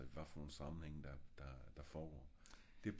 hvad for nogle sammenhæng der der foregår